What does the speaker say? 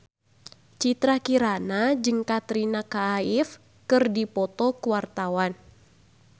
Citra Kirana jeung Katrina Kaif keur dipoto ku wartawan